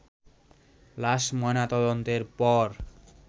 লাশ ময়নাতদন্তের পর